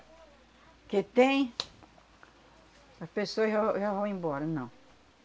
Porque tem... As pessoas já v já vão embora, não.